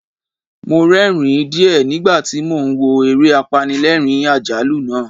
Mo rẹ́ẹ̀rín díẹ̀ nígbà tí mo ń wo eré apanilẹ́ẹ̀rín-àjálù náà.